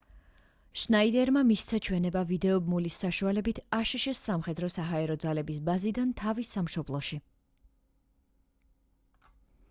შნაიდერმა მისცა ჩვენება ვიდეო ბმულის საშუალებით აშშ-ს სამხედრო-საჰაერო ძალების ბაზიდან თავის სამშობლოში